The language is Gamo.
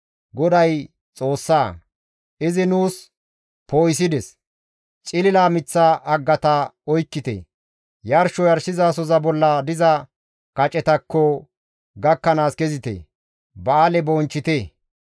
GODAY Xoossa; izi nuus poo7isides; cilila miththa haggata oykkite; yarsho yarshizasoza bolla diza kacetakko gakkanaas kezite; ba7aale bonchchite.